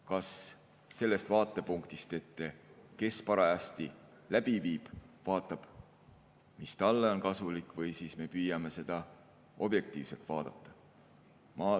Kas sellest vaatepunktist, kes parajasti seda läbi viib, vaatab, mis talle on kasulik, või siis me püüame seda objektiivselt vaadata?